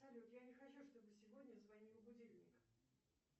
салют я не хочу чтобы сегодня звонил будильник